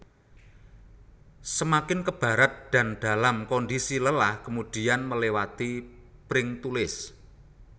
Semakin ke barat dan dalam kondisi lelah kemudia melewati Pringtulis